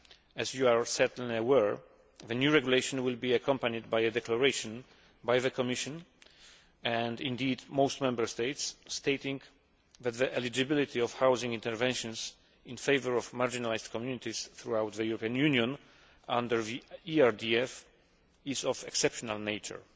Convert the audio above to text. As you are certainly aware, the new regulation will be accompanied by a declaration from the Commission and indeed most Member States stating that the eligibility of housing interventions in favour of marginalised communities throughout the European Union under the ERDF is of an exceptional nature.